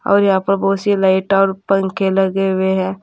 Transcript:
और यहां पर बहुत सी लाइट और पंखे लगे हुए है।